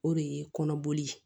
O de ye kɔnɔboli ye